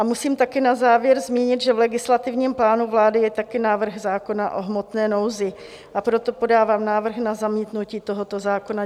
A musím taky na závěr zmínit, že v legislativním plánu vlády je taky návrh zákona o hmotné nouzi, a proto podávám návrh na zamítnutí tohoto zákona.